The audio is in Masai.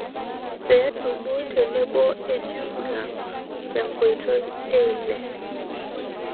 pee dumu teeboo ejumia tenkotoi eeile